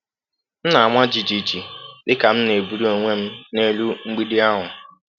M na-ama jijiji dịka m na-ebuli onwe m n’elu mgbidi ahụ.